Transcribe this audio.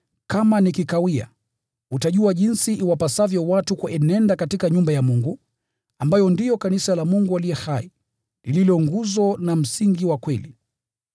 kama nikikawia, utajua jinsi iwapasavyo watu kuenenda katika nyumba ya Mungu, ambayo ndiyo kanisa la Mungu aliye hai, lililo nguzo na msingi wa kweli.